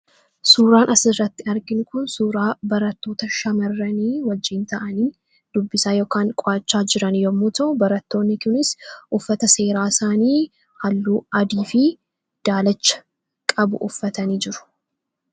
Suuraan asirratti arginu kun suuraa barattoota shamarranii wajjiin ta'anii dubbisaa yookiin qo'achaa jiran yemmuu ta'u, barattoonni kunis uffata seeraa isaanii halluu adii fi daalacha qabu uffatanii jiru.